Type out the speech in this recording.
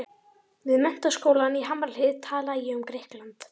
Við Menntaskólann í Hamrahlíð talaði ég um Grikkland.